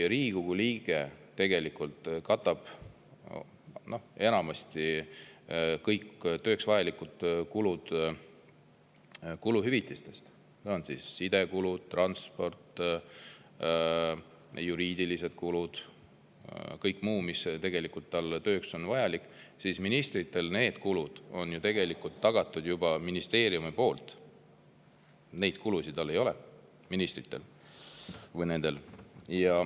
Riigikogu liige katab enamasti kõik tööks vajalikud kulud kuluhüvitistega – sidekulud, transpordi, juriidilised kulud, kõik muu, mis on tema tööks vajalik –, aga ministritel on need kulud tegelikult juba ministeeriumi poolt, neid kulusid ministritel ei ole.